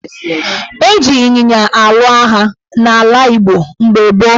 Eji ịnyịnya alụ agha n' ala Igbo mgbe gboo.